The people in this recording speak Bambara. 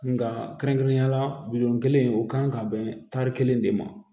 Nka kɛrɛnkɛrɛnnenya la kelen o kan ka bɛn tari kelen de ma